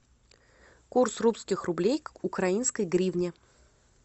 курс русских рублей к украинской гривне